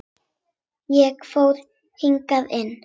Ég fór hikandi inn.